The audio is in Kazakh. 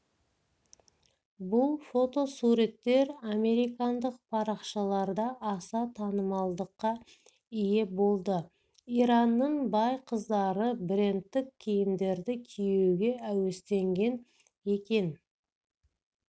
бұл фотосуреттер американдық парақшаларда аса танымалдылыққа ие болды иранның бай қыздары брендтік киімдерді киюге әуестенген екен